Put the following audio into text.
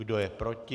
Kdo je proti?